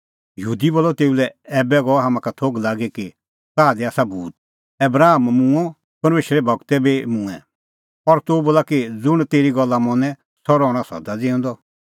यहूदी बोलअ तेऊ लै ऐबै गअ हाम्हां का थोघ लागी कि ताह दी आसा भूत आबराम मूंअ परमेशरे गूर बी मूंऐं और तूह बोला कि ज़ुंण तेरी गल्ला मनें सह रहणअ सदा ज़िऊंदअ